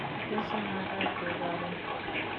kikese marakwek karon